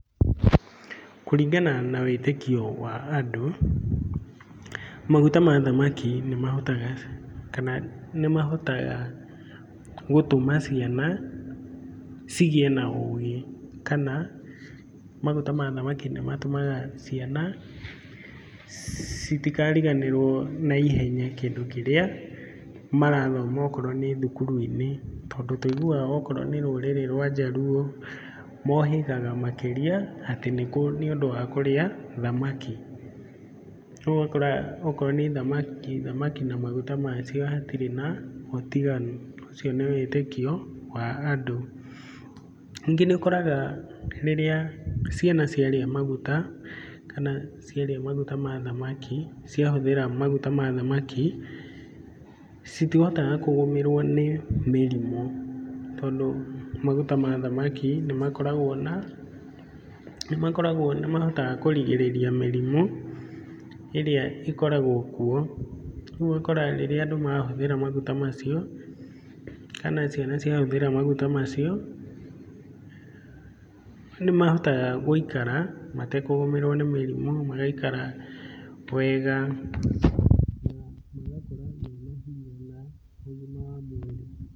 Kũringana na wĩtĩkio wa andũ, maguta ma thamaki nĩ mahotaga gũtũma ciana cigĩe na ũgĩ kana maguta ma thamaki nĩ matũmaga ciana citigariganĩrwo na ihenya kĩndũ kĩrĩa marathoma okorwo nĩ thukuru-inĩ, tondũ tũiguaga okorwo nĩ rũrĩrĩ rwa njaruo, mohĩgaga makĩrĩa atĩ nĩũndũ wa kũrĩa thamaki. Rĩu ũgakora okorwo nĩ thamaki na maguta macio hatirĩ na ũtiganu, ũcio nĩ wĩtĩkio wa andũ. Ningĩ nĩ ũkoraga rĩrĩa ciana ciarĩa maguta kana ciarĩa maguta ma thamaki, ciahũthĩra maguta ma thamaki, citihotaga kũgũmĩrwo nĩ mĩrimũ, tondũ maguta ma thamaki nĩ mahotaga kũrigĩrĩria mĩrimũ ĩrĩa ĩkoragwo kuo, rĩu ũgakora rĩrĩa andũ mahũthĩra maguta macio, kana ciana ciahũthĩra maguta macio, nĩ mahotaga gũikara matekũgũmĩrwo nĩ mĩrimũ, magaikara wega na magakũra mena hinya na ũgima wa mwĩrĩ.